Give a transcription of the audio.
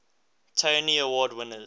tony award winners